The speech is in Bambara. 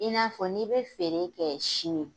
I n'a fɔ n'i bɛ feere kɛ sini.